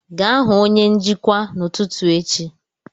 Gaa hụ onye njikwa n'ụtụtụ echi